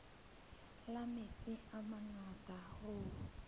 la metsi a mangata hoo